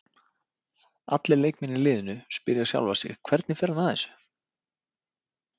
Allir leikmenn í liðinu spyrja sjálfa sig Hvernig fer hann að þessu?